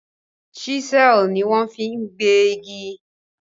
chisel ní wan fí gbé ìgi.